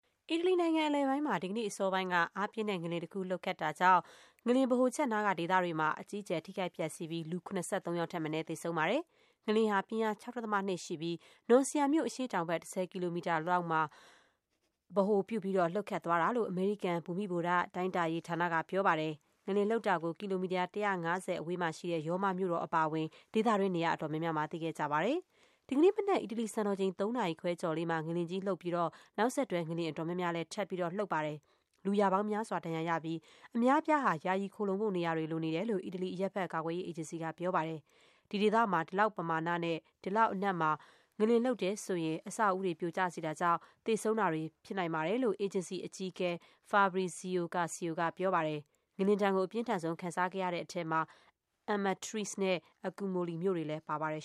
အီတလီနိုင်ငံအလယ်ပိုင်းမှာ ဒီကနေ့အစောပိုင်းက အားပြင်းတဲ့ ငလျင်တခုလှုပ်ခတ်တာကြောင့် ငလျင်ဗဟိုချက်နားက ဒေသတွေ မှာ အကြီးအကျယ် ထိခိုက်ပျက်စီးပြီး လူ ၇၃ ယောက်ထက်မနည်း သေဆုံးပါတယ်။ ငလျင်ဟာ ပြင်းအား ၆.၂ ရှိပြီး Norcia မြို့ အရှေ့တောင်ဘက် ၁၀ ကီလိုမီတာအကွာလောက်မှာ ဗဟိုပြုပြီး လှုပ်ခတ်သွားတာလို့ အမေရိကန် ဘူမိဗေဒတိုင်းတာရေးဌာနက ပြောပါတယ်။ ငလျင်လှုပ်တာကို ကီလိုမီတာ ၁၅၀ အဝေးမှာရှိတဲ့ ရောမမြို့တော်အပါ အဝင် ဒေသတွင်း နေရာအတော်များများမှာ သိခဲ့ကြပါတယ်။ ဒီကနေ့မနက် အီတလီစံတော်ချိန် ၃ နာရီခွဲကျော်လေးမှာ ငလျင်ကြီးလှုပ်ပြီး နောက်ဆက်တွဲငလျင် အတော်များများလည်း ထပ် လှုပ်ပါတယ်။ လူရာပေါင်းများစွာ ဒဏ်ရာရပြီး လူအများအပြားဟာ ယာယီခိုလှုံဖို့နေရာတွေ လိုနေတယ်လို့ အီတလီ အရပ်ဖက် ကာကွယ်ရေးအေဂျင်စီက ပြောပါတယ်။ ဒီဒေသမှာ ဒီလောက်ပမာဏနဲ့ ဒီလောက်အနက်မှာ ငလျင်လှုပ်တယ်ဆိုရင် အဆောက် အဦးတွေ ပြိုကျစေတာကြောင့် သေဆုံး တာတွေဖြစ်နိုင်ပါတယ်လို့ အေဂျင်စီအကြီးအကဲ Fabrizio Curcio ကပြောပါတယ်။ ငလျင်ဒဏ်ကို အပြင်းထန်ဆုံး ခံစားခဲ့ရတဲ့ထဲမှာ Amatrice နဲ့ Accumoli မြို့တွေလည်းပါပါတယ်